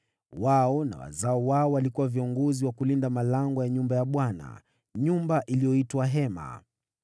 Wao na wazao wao walikuwa viongozi wa kulinda malango ya nyumba ya Bwana , nyumba iliyoitwa Hema.